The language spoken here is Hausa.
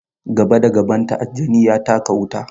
Gaba da gabanta, aljani ya taka wuta.